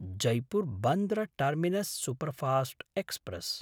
जैपुर्–बन्द्र terminus superfast express